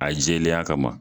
A jɛlenya kama